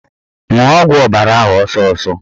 Ṅụọ ọgwụ ọbara ahụ ọsọsọ!